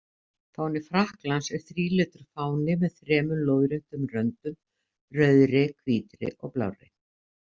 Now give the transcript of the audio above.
Fáni Frakklands er þrílitur fáni með þremur lóðréttum röndum, rauðri, hvítri og blárri.